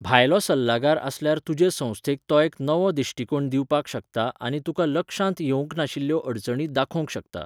भायलो सल्लागार आसल्यार तुजे संस्थेक तो एक नवो दिश्टिकोण दिवपाक शकता आनी तुका लक्षांत येवंक नाशिल्ल्यो अडचणी दाखोवंक शकता.